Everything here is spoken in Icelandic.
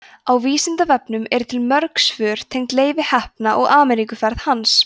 á vísindavefnum eru til mörg svör tengd leifi heppna og ameríkuferð hans